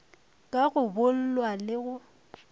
ka go boolwa le go